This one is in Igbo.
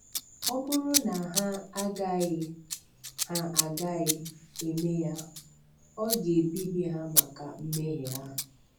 Ọ bụrụ na ha agaghị ha agaghị eme ya, Ọ ga-ebibi ha maka mmehie ha.